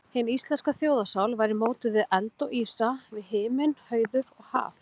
Hin íslenska þjóðarsál væri mótuð við eld og ísa, við himinn, hauður og haf.